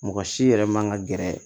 Mɔgɔ si yɛrɛ man ka gɛrɛ